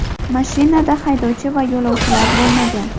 Mashinada haydovchi va yo‘lovchilar bo‘lmagan.